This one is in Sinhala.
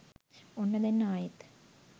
ඔන්න දැන් ආයෙත්